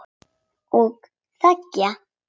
Og þegja.